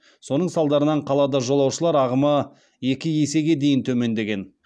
соның салдарынан қалада жолаушылар ағымы екі есеге дейін төмендеген